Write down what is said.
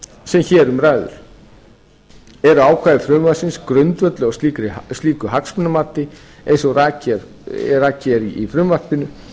hér um ræðir eru ákvæði frumvarpsins grundvölluð á slíku hagsmunamati eins og rakið er í frumvarpinu